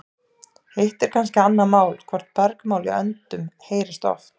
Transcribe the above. Hitt er kannski annað mál hvort bergmál í öndum heyrist oft.